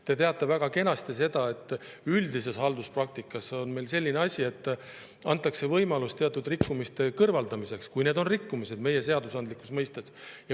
Te teate väga kenasti seda, et üldises halduspraktikas on selline asi, et antakse võimalus teatud rikkumiste kõrvaldamiseks, kui need on rikkumised seadusandlikus mõttes.